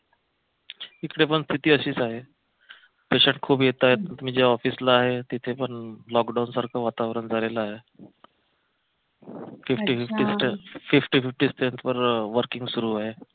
इकडे पण स्थिती अशीच आहे patient खूप येताय मी ज्या ऑफिसला आहे तिथे पण लॉकडाऊन सारखं वातावरण झालेलं आहे fifty fifty fifty fifty strength वर working सुरू आहे